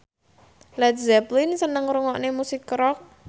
Led Zeppelin seneng ngrungokne musik rock